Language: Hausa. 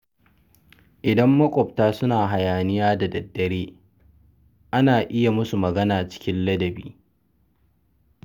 Idan maƙwabta suna hayaniya da daddare, ana iya musu magana cikin ladabi.